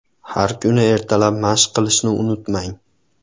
Har kuni ertalab mashq qilishni unutmang.